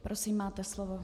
Prosím, máte slovo.